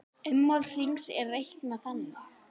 Ummál hrings er reiknað þannig